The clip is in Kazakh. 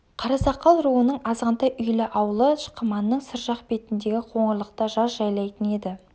қарасақал руының азғантай үйлі аулы шықыманның сыр жақ бетіндегі қоңырлықта жаз жайлайтын еді